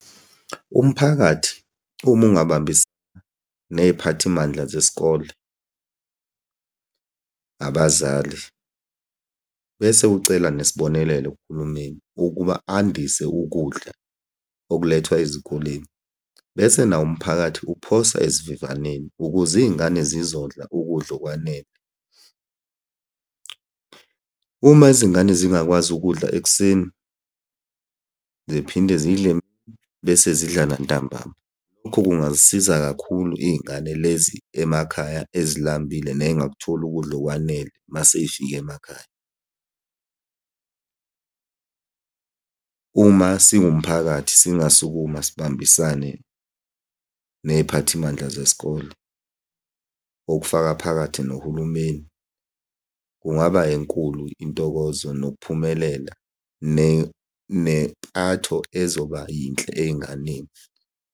Umphakathi uma ungabambisa ney'phathimandla zesikole, abazali, bese ucela nesibonelelo kuhulumeni ukuba andise ukudla okulethwa ezikoleni, bese nawo umphakathi uphosa esivivaneni ukuze iy'ngane zizodla ukudla okwanele. Uma izingane zingakwazi ukudla ekuseni, ziphinde zidle bese zidlala ntambama. Lokho kungazisiza kakhulu iy'ngane lezi emakhaya ezilambile ney'ngakutholi ukudla okwanele masey'fike emakhaya. Uma singumphakathi singasukama sibambisane ney'phathimandla zesikole, okufaka phakathi nohulumeni, kungaba enkulu intokozo nokuphumelela, nempatho ezoba yinhle ey'nganeni.